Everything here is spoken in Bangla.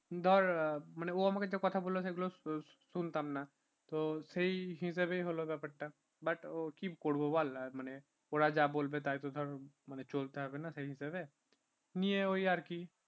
ধর মানে ও আমাকে যে কথাগুলো বলল সেগুলো শুনতাম না তো সেই হিসাবেই হল ব্যাপারটা but ও কি করবো বল ওরা যা বলবে তাই তো ধর চলতে হবে না সেই হিসাবে নিয়ে ওই আর কি